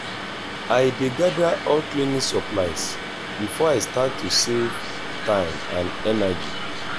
i dey gather all cleaning supplies before i start to save time and energy.